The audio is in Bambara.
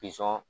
Pizɔn